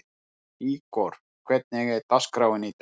Ígor, hvernig er dagskráin í dag?